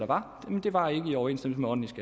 var nogle der var i overensstemmelse